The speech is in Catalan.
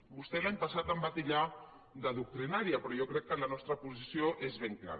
vostè l’any passat em va titllar de doctrinària però jo crec que la nostra posició és ben clara